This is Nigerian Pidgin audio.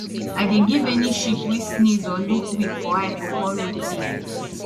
i dey give any sheep wey sneeze or look weak for eye pawpaw root tea